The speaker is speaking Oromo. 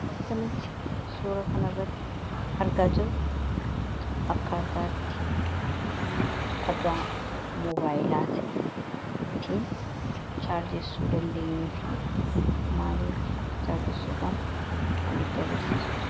Waanta nuti suura kan irratti argaa jiru akkasaatti dhagaa mobaayilaa ta'e ittiin chaarjessuu dandeenyuu fi maaliin akka chaarjessuun kannutti agirsiisuudha